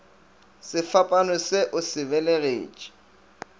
sefapano se o se belegetše